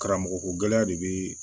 Karamɔgɔko gɛlɛya de bɛ